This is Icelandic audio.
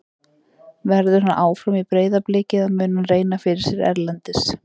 Verður hann áfram í Breiðabliki eða mun hann reyna fyrir sér erlendis?